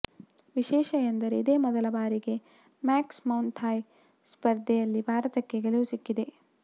ವಿಶೇಷ ಎಂದರೆ ಇದೇ ಮೊದಲ ಬಾರಿಗೆ ಮಾಕ್ಸ್ ಮೌಥಾಯ್ ಸ್ಪರ್ಧೆಯಲ್ಲಿ ಭಾರತಕ್ಕೆ ಗೆಲುವು ಸಿಕ್ಕಿದೆ